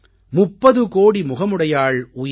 முப்பது கோடி முகமுடையாள் உயிர்